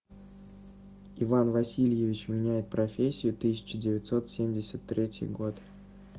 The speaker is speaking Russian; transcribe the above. иван васильевич меняет профессию тысяча девятьсот семьдесят третий год